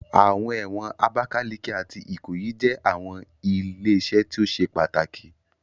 Awọn ẹwọn Abakaliki ati Ikoyi jẹ awọn ile-iṣẹ ti o ṣe pataki